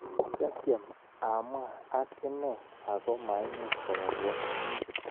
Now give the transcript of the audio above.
Kiatiem amwa ak ine ako maimuch kowalwa."